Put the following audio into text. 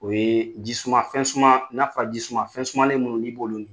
O yee ji suma fɛn suma n'a fɔra ji suma fɛnsumanlen minnu n'i b'olu min